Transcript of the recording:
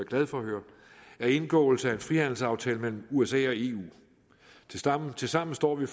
glad for at høre er indgåelse af en frihandelsaftale mellem usa og eu tilsammen tilsammen står vi